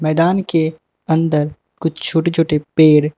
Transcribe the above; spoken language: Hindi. मैदान के अंदर कुछ छोटे छोटे पेड़ --